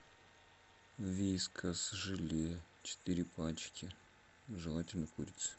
вискас желе четыре пачки желательно курица